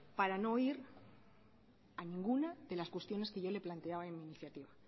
para no oír a ninguna de las cuestiones que yo le he planteado en mi iniciativa